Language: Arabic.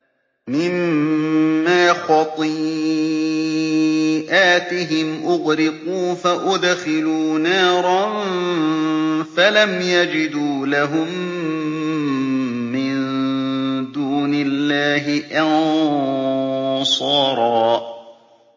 مِّمَّا خَطِيئَاتِهِمْ أُغْرِقُوا فَأُدْخِلُوا نَارًا فَلَمْ يَجِدُوا لَهُم مِّن دُونِ اللَّهِ أَنصَارًا